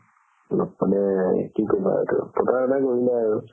অলপমানে কি কবা এইটো প্ৰতাৰণা কৰিলে আৰু